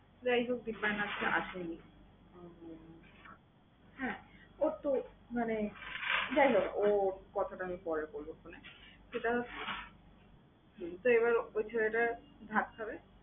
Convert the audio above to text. যাই হোক দিপায়ন আজকে আসে নি। উম হ্যাঁ ওর তো মানে যাই হোক ওর কথাটা আমি পরে বলবো phone এ, ঠিক আছে? তো এবার ঐ ছেলেটা ভাত খাবে।